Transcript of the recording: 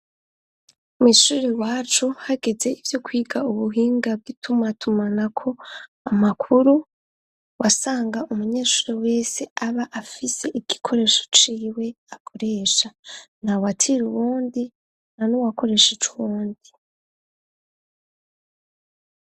Mw'ishure wacu hageze ivyo kwiga ubuhinga bw'ituma tumanako amakuru wasanga umunyeshure wese aba afise igikoresho ciwe akoresha nta watira uwundi ntanuwakoresha icuwundi.